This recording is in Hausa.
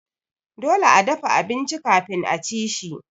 Dole a dafa abinci kafin aci shi.